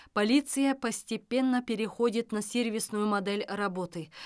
полиция постепенно переходит на сервисную модель работы